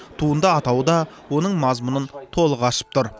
туынды атауы да оның мазмұнын толық ашып тұр